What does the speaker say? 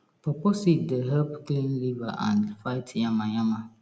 pawpaw seed dey help clean liver and fight yama yama